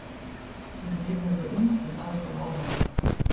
Hinir höfðu engin áhrif á hana.